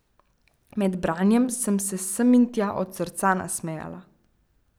Med branjem sem se sem in tja od srca nasmejala.